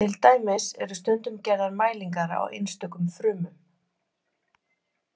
Til dæmis eru stundum gerðar mælingar á einstökum frumum.